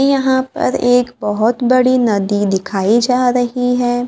यहां पर एक बहोत बड़ी नदी दिखाई जा रही है।